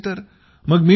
card नसेल तर